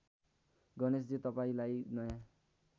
गणेशजी तपाईँंलाई नयाँ